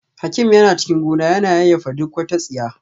Hakim yana cikin gona yana yayyafa duk wata tsiya